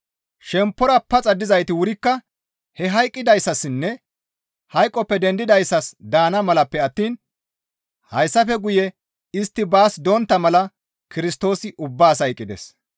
Shemppora paxa dizayti wurikka he hayqqidayssassinne hayqoppe dendidayssas daana malappe attiin hayssafe guye istti baas dontta mala Kirstoosi ubbaas hayqqides.